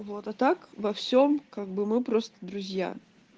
вот а так во всем как бы мы просто друзья